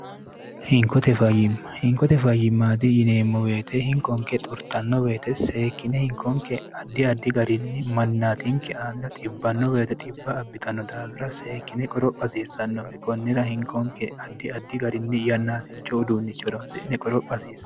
inkotefyimmhinkote fayimmaati yineemmo weete hinkonke xurxanno weyete seekkine hinkonke addi addi garinni mannaatinke aalla xibbanno weyite xibba abbitanno daawira seekkine qorophasiissannoki konnira hinkonke addi addi garinni yannaasicho uduunnichoronsi'ne qoro pha hasiisan